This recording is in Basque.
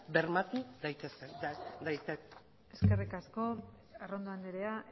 bermatu eskerrik asko arrondo andrea